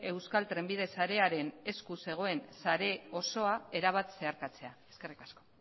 euskal trenbide sarearen esku zegoen sare osoa erabat zeharkatzea eskerrik asko